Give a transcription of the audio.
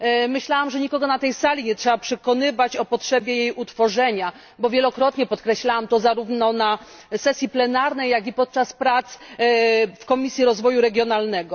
Myślałam, że nikogo na tej sali nie trzeba przekonywać o potrzebie jej utworzenia, bo wielokrotnie podkreślałam to zarówno na sesji plenarnej, jak i podczas prac w Komisji Rozwoju Regionalnego.